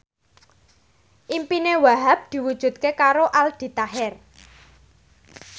impine Wahhab diwujudke karo Aldi Taher